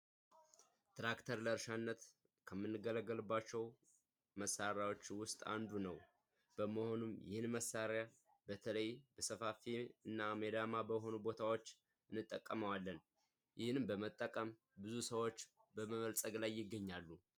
ትራክተር ለእርሻነት ከምንገለገልባቸው መሳሪያዎች ውስጥ አንዱ ነው። በመሆኑም ይህን መሳሪያ በተለይ በሰፋፊ እና ሜዳማ ቦታዎች እንጠቀመዋለን፤ ይህንን በመጠቀም ብዙ ሰዎች በመበልፀግ ላይ ይገኛሉ።